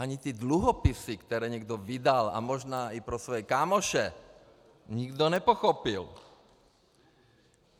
Ani ty dluhopisy, které někdo vydal, a možná i pro své kámoše, nikdo nepochopil.